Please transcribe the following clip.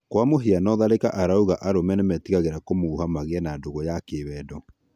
Kwa mũhiano Tharĩka arauga arũme nímetigĩraga kũmuha magĩe na ndũgũ ya kĩwendo